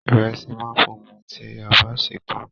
Ìrẹsì máa ń funfun tí a bá sè é tán